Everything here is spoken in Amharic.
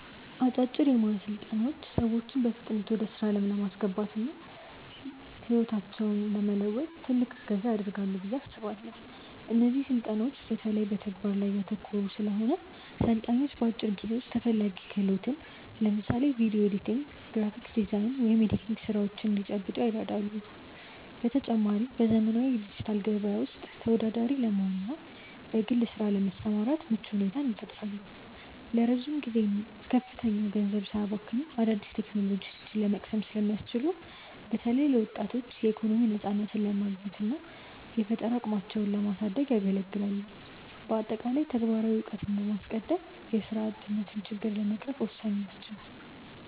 አጫጭር የሞያ ስልጠናዎች ሰዎችን በፍጥነት ወደ ስራ ዓለም ለማስገባትና ህይወታቸውን ለመለወጥ ትልቅ እገዛ ያደርጋሉ ብዬ አስባለው። እነዚህ ስልጠናዎች በተለይ በተግባር ላይ ያተኮሩ ስለሆኑ፣ ሰልጣኞች በአጭር ጊዜ ውስጥ ተፈላጊ ክህሎትን (ለምሳሌ ቪዲዮ ኤዲቲንግ፣ የግራፊክ ዲዛይን ወይም የቴክኒክ ስራዎች) እንዲጨብጡ ይረዳሉ። በተጨማሪም፣ በዘመናዊው የዲጂታል ገበያ ውስጥ ተወዳዳሪ ለመሆንና በግል ስራ ለመሰማራት ምቹ ሁኔታን ይፈጥራሉ። ረጅም ጊዜና ከፍተኛ ገንዘብ ሳያባክኑ አዳዲስ ቴክኖሎጂዎችን ለመቅሰም ስለሚያስችሉ፣ በተለይ ለወጣቶች የኢኮኖሚ ነፃነትን ለማግኘትና የፈጠራ አቅማቸውን ለማሳደግ ያገለግላሉ። በአጠቃላይ፣ ተግባራዊ እውቀትን በማስቀደም የስራ አጥነትን ችግር ለመቅረፍ ወሳኝ ናቸው።